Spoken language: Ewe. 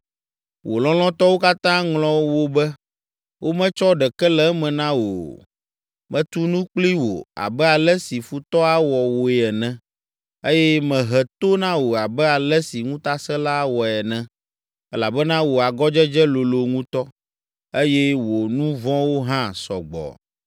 Wò lɔlɔ̃tɔwo katã ŋlɔ wò be, wometsɔ ɖeke le eme na wò o. Metu nu kpli wò abe ale si futɔ awɔ wòe ene, eye mehe to na wò abe ale si ŋutasẽla awɔe ene, elabena wò agɔdzedze lolo ŋutɔ, eye wò nu vɔ̃wo hã sɔ gbɔ.